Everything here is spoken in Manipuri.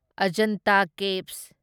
ꯑꯖꯟꯇ ꯀꯦꯚ꯭ꯁ